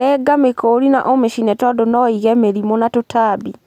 Renga mĩkori na ũmĩcine tandũ no ĩige mĩrĩmũ na tũtambi.